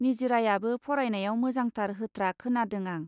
निजिरायाबो फरायनायाव मोजांथार होत्रा खोनादों आं.